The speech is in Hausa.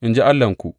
In ji Allahnku.